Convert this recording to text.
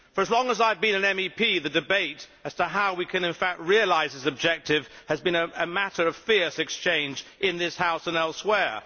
For as long as I have been an MEP, the debate as to how we can in fact realise this objective has been a matter of fierce exchange in this House and elsewhere.